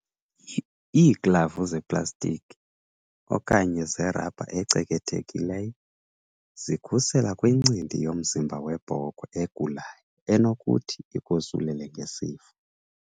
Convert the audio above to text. Iiglavu zeplastiki, okanye zerabha ecekethekileyo, zikhusela kwincindi yomzimba webhokhwe egulayo enokuthi ikosulele ngesifo.